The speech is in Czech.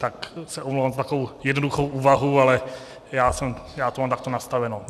Tak se omlouvám za takovou jednoduchou úvahu, ale já to mám takto nastaveno.